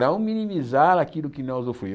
Não minimizar aquilo que não é